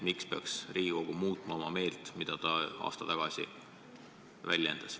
Miks peaks Riigikogu meelt muutma ja hääletama teisti kui aasta tagasi?